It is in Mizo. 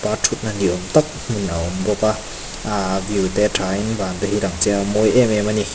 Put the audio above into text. aa thutna ni awm tak hmun a awm bawk a ahh view te thain van te hi a lang chiang mawi em em a ni.